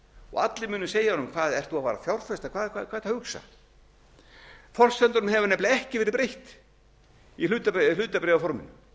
og allir munu segja honum hvað ert þú að fara að fjárfesta hvað ertu að hugsa forsendunum hefur nefnilega ekki verið breytt í hlutabréfaforminu